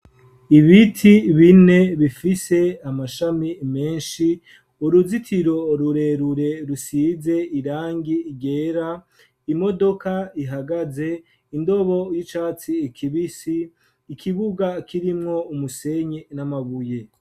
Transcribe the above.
Ibiti bine bifise amashami menshi, uruzitiro rurerure rusize irangi ryera, imodoka ihagaze, indobo y'icatsi ikibisi, ikibuga kirimwo umusenyi n'amabuye.